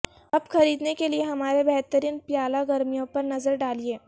اب خریدنے کے لئے ہمارے بہترین پیالا گرمیوں پر نظر ڈالیں